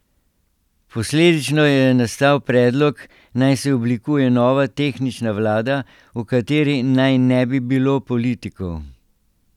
Posledično je nastal predlog, naj se oblikuje nova, tehnična vlada, v kateri naj ne bi bilo politikov.